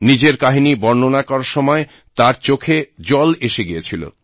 নিজের কাহিনী বর্ণনা করার সময় তাঁর চোখে জল এসে গিয়েছিল